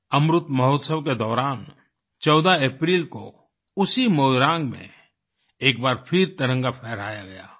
अमृत महोत्सव के दौरान 14 अप्रैल को उसी मोइरांग में एक बार फिर तिरंगा फहराया गया